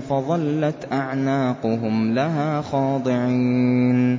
فَظَلَّتْ أَعْنَاقُهُمْ لَهَا خَاضِعِينَ